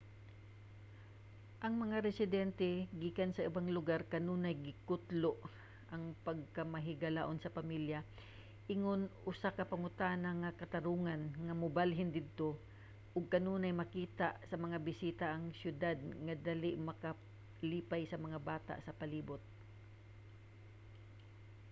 ang mga residente gikan sa ubang lugar kanunay gikutlo ang pagkamahigalaon sa pamilya ingon usa ka panguna nga katarungan nga mobalhin didto ug kanunay makita sa mga bisita ang syudad nga dali makapalipay sa mga bata sa palibot